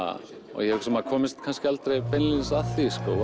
og ég held að maður komist kannski aldrei beint að því sko